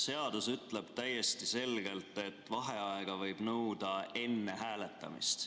Seadus ütleb täiesti selgelt, et vaheaega võib nõuda enne hääletamist.